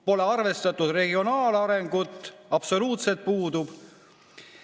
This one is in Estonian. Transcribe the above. Pole arvestatud regionaalarengut – absoluutselt puudub.